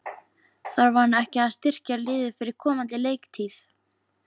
Þarf hann ekki að styrkja liðið fyrir komandi leiktíð?